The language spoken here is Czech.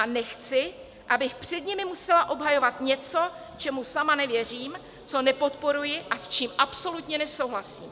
A nechci, abych před nimi musela obhajovat něco, čemu sama nevěřím, co nepodporuji a s čím absolutně nesouhlasím.